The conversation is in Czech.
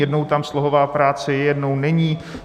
Jednou tam slohová práce je, jednou není.